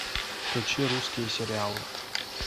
включи русские сериалы